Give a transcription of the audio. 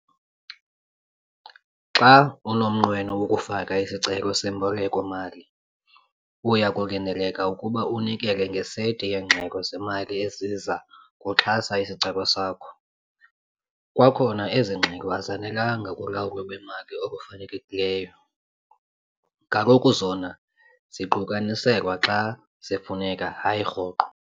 Xa unomnqweno wokufaka isicelo semboleko-mali, uya kulindeleka ukuba unikele ngeseti yeengxelo zemali eziza kuxhasa isicelo sakho. Kwakhona ezi ngxelo azanelanga kulawulo lwemali olufanelekileyo. Kaloku zona ziqukaniselwa xa zifuneka hayi rhoqo.